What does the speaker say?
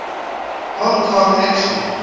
hong kong action